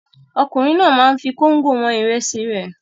Ọkùnrin náà máa ń fi kóńgò wọn ìrẹsì rẹ̀.